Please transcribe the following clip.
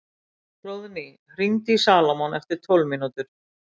Hróðný, hringdu í Salómon eftir tólf mínútur.